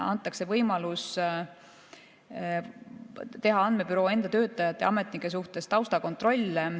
Antakse võimalus teha andmebüroo enda töötajate ja ametnike suhtes taustakontrolle.